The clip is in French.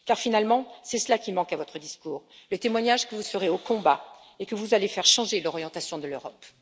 Car, finalement, c'est cela qui manque à votre discours le témoignage que vous serez au combat et que vous allez faire changer l'orientation de l'Europe.